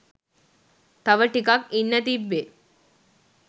තව ටිකක් ඉන්න තිබ්බේ